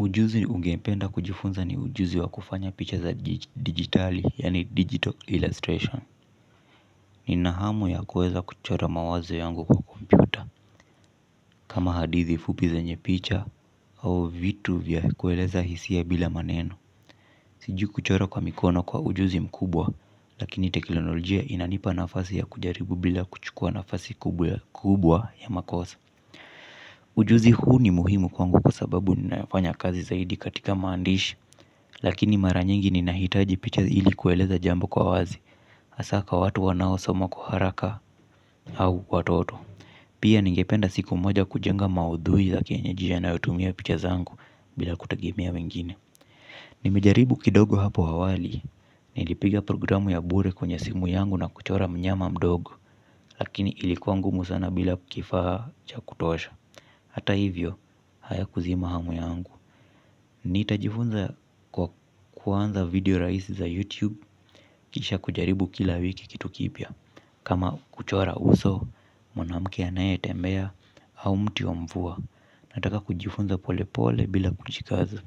Ujuzi ungependa kujifunza ni ujuzi wa kufanya picha za digitali, yaani digital illustration. Nina hamu ya kuweza kuchora mawazo yangu kwa kompyuta. Kama hadithi fupi zenye picha au vitu vya kueleza hisia bila maneno. Sijui kuchora kwa mikono kwa ujuzi mkubwa, lakini teknolojia inanipa nafasi ya kujaribu bila kuchukua nafasi kubwa ya makosa. Ujuzi huu ni muhimu kwangu kwa sababu ninafanya kazi zaidi katika maandishi. Lakini mara nyingi ninahitaji picha ili kueleza jambo kwa wazi hasa kwa watu wanaosoma kwa haraka au watoto. Pia ningependa siku moja kujenga maudhui za kienyeji yanayotumia picha zangu bila kutegemea wengine. Nimejaribu kidogo hapo awali. Nilipiga programu ya bure kwenye simu yangu na kuchora mnyama mdogo. Lakini ilikuwa ngumu sana bila kifaa cha kutosha. Hata hivyo hayakuzima hamu yangu. Ni nitajifunza kwa kuanza video rahisi za YouTube kisha kujaribu kila wiki kitu kipya. Kama kuchora uso, mwanamke anayetembea, au mti wa mvua. Nataka kujifunza pole pole bila kuchikazi.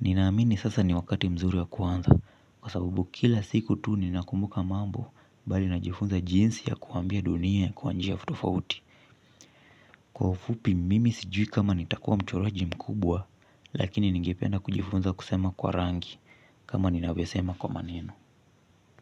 Ninaamini sasa ni wakati mzuri wa kuanza kwa sababu kila siku tu ni nakumbuka mambo bali najifunza jinsi ya kuambia dunia ya kwa njia tofauti. Kwa ufupi mimi sijui kama nitakuwa mchoraji mkubwa. Lakini ningependa kujifunza kusema kwa rangi. Kama ninavyosema kwa maneno.